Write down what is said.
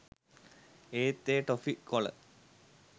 ඒත් එය ටොෆි කොල